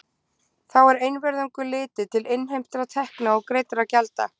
Þá er einvörðungu litið til innheimtra tekna og greiddra gjalda.